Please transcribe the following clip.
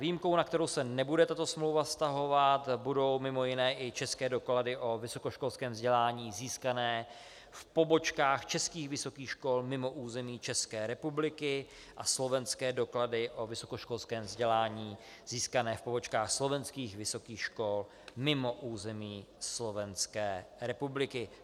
Výjimkou, na kterou se nebude tato smlouva vztahovat, budou mimo jiné i české doklady o vysokoškolském vzdělání získané v pobočkách českých vysokých škol mimo území České republiky a slovenské doklady o vysokoškolském vzdělání získané v pobočkách slovenských vysokých škol mimo území Slovenské republiky.